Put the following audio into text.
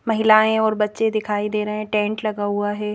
महिलाएं और बच्चे दिखाई दे रहे हैं टेंट लगा हुआ है.